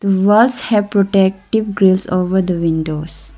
walls have protective grills over the windows.